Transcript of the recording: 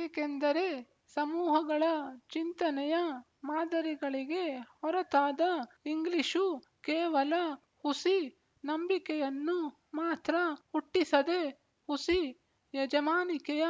ಏಕೆಂದರೆ ಸಮೂಹಗಳ ಚಿಂತನೆಯ ಮಾದರಿಗಳಿಗೆ ಹೊರತಾದ ಇಂಗ್ಲಿಶು ಕೇವಲ ಹುಸಿ ನಂಬಿಕೆಯನ್ನು ಮಾತ್ರ ಹುಟ್ಟಿಸದೆ ಹುಸಿ ಯಜಮಾನಿಕೆಯ